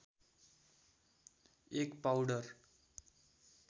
एक पाउडर